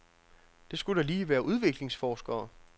Det skulle da lige være udviklingsforskere.